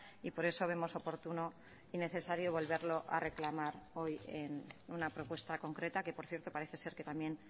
y por eso vemos oportuno y necesario volverlo a reclamar hoy en una propuesta concreta que por cierto parece ser que también